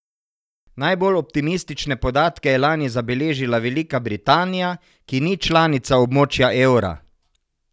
Najbolj optimistične podatke je lani zabeležila Velika Britanija, ki ni članica območja evra.